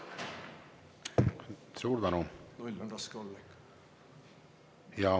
Suur tänu!